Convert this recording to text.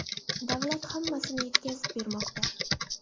Davlat hammasini yetkazib bermoqda.